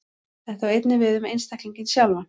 Þetta á einnig við um einstaklinginn sjálfan.